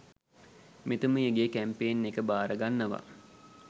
මෙතුමියගෙ campaign එක බාරගන්නව.